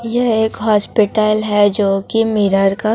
यह एक हॉस्पिटल है जो कि मिरर का--